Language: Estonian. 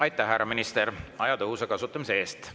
Aitäh, härra minister, aja tõhusa kasutamise eest!